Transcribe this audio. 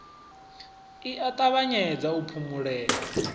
i a ṱavhanyedza u phumulea